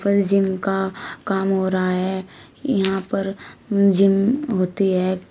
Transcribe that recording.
ये जिम का काम हो रहा है यहां पर जिम होती है।